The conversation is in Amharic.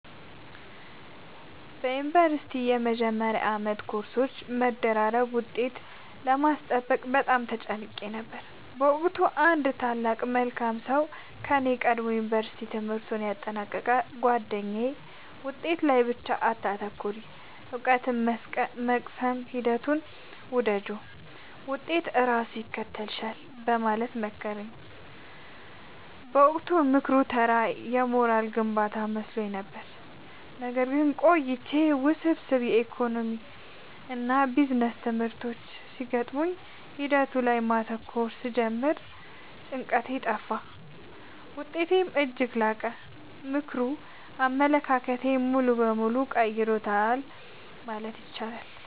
በዩኒቨርሲቲ መጀመሪያ ዓመት በኮርሶች መደራረብና ውጤት ለማስጠበቅ በጣም ተጨንቄ ነበር። በወቅቱ አንድ ታላቅ መልካም ሰው ከኔ ቀድሞ የዩንቨርስቲ ትምህርቱን ያጠናቀቀው ጉአደኛዬ «ውጤት ላይ ብቻ አታተኩሪ: እውቀትን የመቅሰም ሂደቱን ውደጂው፣ ውጤት ራሱ ይከተልሻል» በማለት መከረኝ። በወቅቱ ምክሩ ተራ የሞራል ግንባታ መስሎኝ ነበር። ነገር ግን ቆይቼ ውስብስብ የኢኮኖሚክስና ቢዝነስ ትምህርቶች ሲገጥሙኝ ሂደቱ ላይ ማተኮር ስጀምር ጭንቀቴ ጠፋ: ውጤቴም እጅግ ላቀ። ምክሩ አመለካከቴን ሙሉ በሙሉ ቀይሮታል ማለት እችላለሁ።